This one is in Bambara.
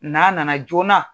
N'a nana joona